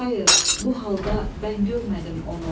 Xayır, bu halda bən görmədim onu.